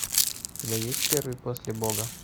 у тебя есть первый после бога